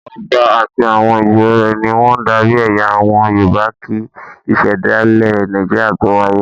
Ọba àti àwọn ìjòyè rẹ̀ ni wọ́n ń darí ẹ̀yà àwọn Yorùbá kí Ìṣẹ̀dálẹ̀ Nàìjíríà tó wáyé.